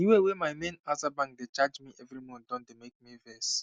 the way wey my main aza bank dey charge me every month don dey make me vex